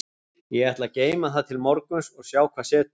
Ég ætla að geyma það til morguns og sjá hvað setur.